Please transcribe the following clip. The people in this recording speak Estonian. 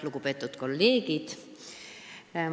Lugupeetud kolleegid!